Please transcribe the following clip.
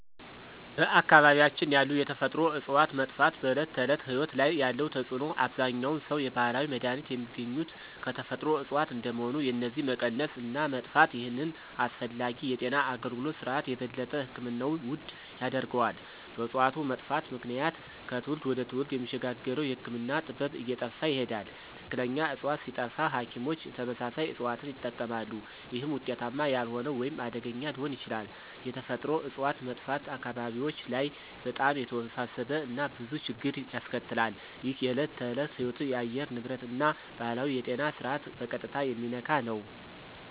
በአካባቢያችን ያሉ የተፈጥሮ እፅዋት መጥፋት በዕለት ተዕለት ሕይወት ላይ ያለው ተጽዕኖ አብዛኛውን ሰው የባህላዊ መድሃኒት የሚገኙት ከተፈጥሮ እጽዋት እንደመሆኑ የነዚህ መቀነስ እና መጥፋት ይህንን አስፈላጊ የጤና አገልግሎት ስርዓት የበለጠ ሕክምናውን ውድ ያደርገዋል። በእጽዋቱ መጥፋት ምክንያት ከትውልድ ወደ ትውልድ የሚሸጋገረው የህክምና ጥበብ እየጠፋ ይሄዳል። ትክክለኛ ዕፅዋት ሲጠፋ ሐኪሞች ተመሳሳይ እጽዋትን ይጠቀማሉ፣ ይህም ውጤታማ ያልሆነ ወይም አደገኛ ሊሆን ይችላል። የተፈጥሮ እጽዋት መጥፋት አካባቢዎች ላይ በጣም የተወሳሰበ እና ብዙ ችግር ያስከትላል። ይህ የዕለት ተዕለት ሕይወትን፣ የአየር ንብረትን እና ባህላዊውን የጤና ስርዓት በቀጥታ የሚነካ ነው።